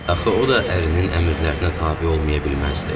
Axı o da ərinin əmrlərinə tabe olmaya bilməzdi.